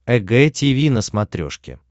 эг тиви на смотрешке